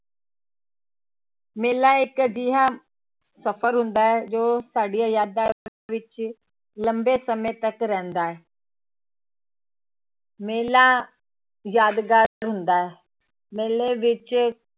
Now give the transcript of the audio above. ਮੇਲਾ ਇੱਕ ਅਜਿਹਾ ਸਫ਼ਰ ਹੁੰਦਾ ਹੈ ਜੋ ਸਾਡੀਆਂ ਯਾਦਾਂ ਵਿੱਚ ਲੰਬੇ ਸਮੇਂ ਤੱਕ ਰਹਿੰਦਾ ਹੈ ਮੇਲਾ ਯਾਦਗਾਰ ਹੁੰਦਾ ਹੈ, ਮੇਲੇ ਵਿੱਚ